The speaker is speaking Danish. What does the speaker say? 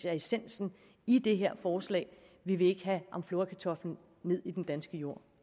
essensen i det her forslag vi vil ikke have amflorakartoflen ned i den danske jord